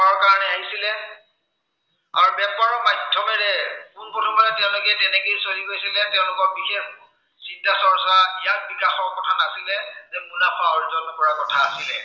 আৰু বেপাৰৰ মাধ্য়মেৰে, পোন প্ৰথমে তেওঁলোকে তেনেকেই চলি গৈছিলে। তেওঁলোকৰ বিশেষ, চিন্তা চৰ্চা, জ্ঞান বিকাশৰ কথা নাছিলে। তেওঁলোকে মুনাফা অৰ্জন কৰাৰ কথা আছিলে।